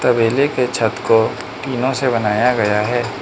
तबेले के छत को टीनो से बनाया गया है।